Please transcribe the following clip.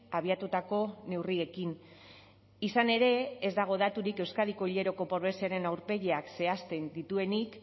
abiatutako neurriekin izan ere ez dago daturik euskadiko hileroko pobreziaren aurpegiak zehazten dituenik